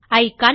icon